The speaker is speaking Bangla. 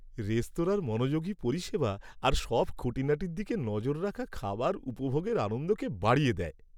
রেস্তোরাঁর মনোযোগী পরিষেবা আর সব খুঁটিনাটির দিকে নজর রাখা খাবার উপভোগের আনন্দকে বাড়িয়ে দেয়।